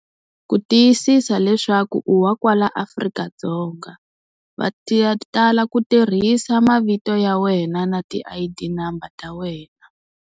Ku tiyisisa leswaku u wa kwala Afrika-Dzonga, va tala ku tirhisa mavito ya wena na ti I_D number ta wena.